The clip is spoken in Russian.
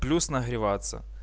плюс нагреваться